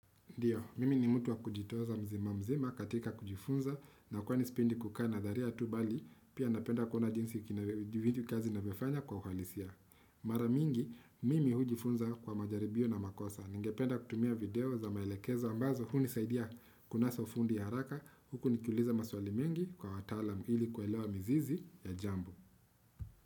Ndiyo, mimi ni mutu wa kujitoza mzima mzima katika kujifunza na kwani sipendi kukana dharia tu bali, pia napenda kuona jinsi kazi na vifanya kwa uhalisia. Maramingi, mimi hujifunza kwa majaribio na makosa. Ningependa kutumia video za maelekezo ambazo, huni saidia kunasa ufundi ya haraka, huku nikiuliza maswali mengi kwa watalam ili kwelewa mizizi ya jambo.